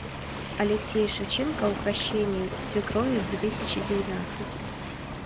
алексей шевченко укрощение свекрови две тысячи девятнадцать